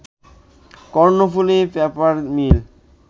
Karnaphuli paper মিল